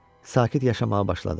Sakit yaşamağa başladıq.